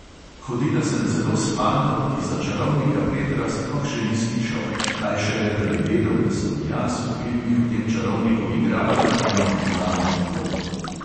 Hodila sem celo s fantom, ki za čarovnika petra sploh še ni slišal, kaj šele, da bi vedel, da sem jaz v filmih o tem čarovniku igrala eno od glavnih vlog.